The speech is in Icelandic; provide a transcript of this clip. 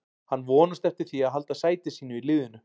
Hann vonast eftir því að halda sæti sínu í liðinu.